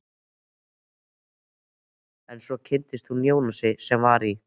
En svo kynntist hún Jónasi sem var í